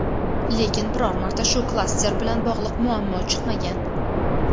lekin biror marta shu klaster bilan bog‘liq muammo chiqmagan.